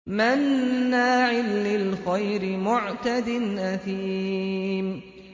مَّنَّاعٍ لِّلْخَيْرِ مُعْتَدٍ أَثِيمٍ